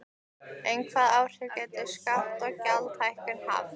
En hvaða áhrif gætu skatta- og gjaldahækkanir haft?